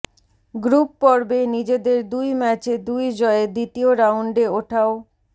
group পর্বে নিজেদের দুই ম্যাচে দুই জয়ে দ্বিতীয় রাউন্ডে ওঠাও